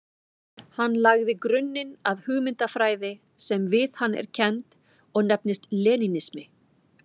Hann lagði grunninn að hugmyndafræði sem við hann er kennd og nefnist lenínismi.